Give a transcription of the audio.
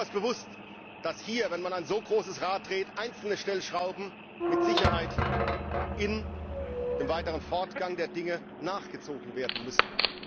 Ich bin mir durchaus bewusst, dass hier, wenn man ein so großes Rad dreht, einzelne Stellschrauben mit Sicherheit im weiteren Fortgang der Dinge nachgezogen werden müssen.